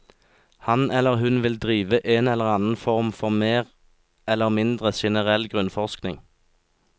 Han eller hun vil drive en eller annen form for mer eller mindre generell grunnforskning.